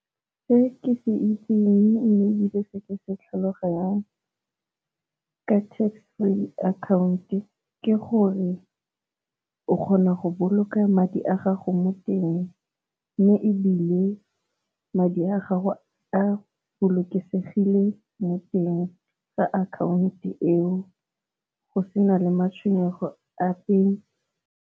Se ke itseng mme ebile se ke se tlhaloganyang ka tax free account ke gore o kgona go boloka madi a gago mo teng, mme ebile madi a gago a bolokesegile mo teng ga akhaonto eo go sena le matshwenyego ape.